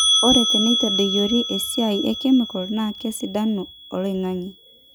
ore teneitadoyiori esiai e kemikal naa kesidanu oloing'ang'e